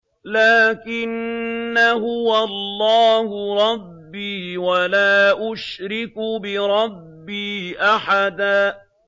لَّٰكِنَّا هُوَ اللَّهُ رَبِّي وَلَا أُشْرِكُ بِرَبِّي أَحَدًا